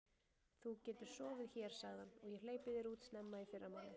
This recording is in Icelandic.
Þú getur sofið hér sagði hann, og ég hleypi þér út snemma í fyrramálið.